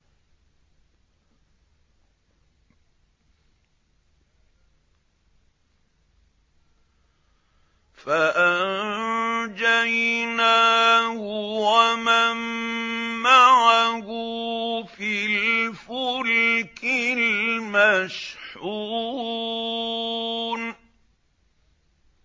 فَأَنجَيْنَاهُ وَمَن مَّعَهُ فِي الْفُلْكِ الْمَشْحُونِ